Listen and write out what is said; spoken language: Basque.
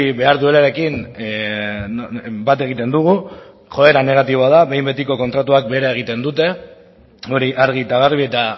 behar duelarekin bat egiten dugu joera negatiboa da behin betiko kontratuak behera egiten dute hori argi eta garbi eta